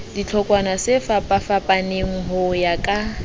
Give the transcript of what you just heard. dihlotshwana tsefapafapaneng ho ya ka